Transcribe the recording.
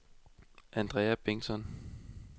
Andrea Bengtsson